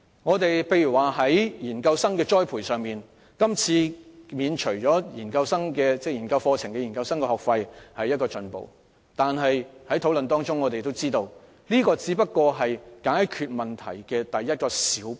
舉例而言，在研究生的栽培上，今次免除他們修讀研究生課程的學費是一種進步。但從討論中，我們得知這只是解決問題的一小步。